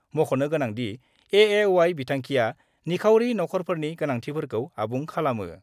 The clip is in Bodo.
मख 'नो गोनांदि, एएवाइ विथांखिया नख 'रफोरनि गोनांथिफोरखौ आबुं खालामो।